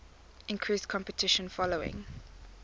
increased competition following